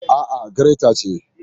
A'a, gireta ce.